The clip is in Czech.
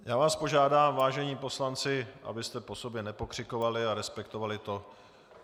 Já vás požádám, vážení poslanci, abyste po sobě nepokřikovali a respektovali to.